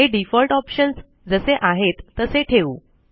हे default options जसे आहेत तसे ठेवू